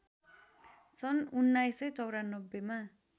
सन् १९९४ मा